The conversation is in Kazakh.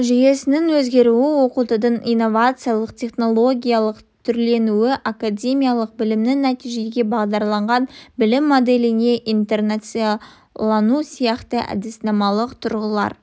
жүйесінің өзгеруі оқытудың инновациялық-технологиялық түрленуі академиялық білімнен нәтижеге бағдарланған білім моделіне интеграциялану сияқты әдіснамалық тұрғылар